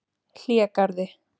Hlégarði